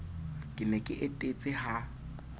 ke ne ke etetse ha